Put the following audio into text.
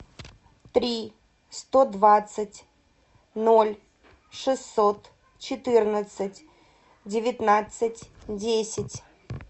три сто двадцать ноль шестьсот четырнадцать девятнадцать десять